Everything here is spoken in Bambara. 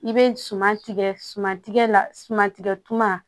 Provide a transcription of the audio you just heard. I bɛ suman tigɛ suman tigɛ la sumantigɛ tuma